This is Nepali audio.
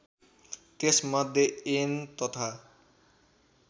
त्यसमध्ये ऐन तथा